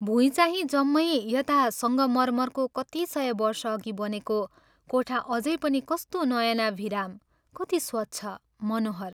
भुइँचाहिँ जम्मै यता संगमर्मरको कति सय वर्षअघि बनेको कोठा अझै पनि कस्तो नयनाभिराम, कति स्वच्छ, मनोहर।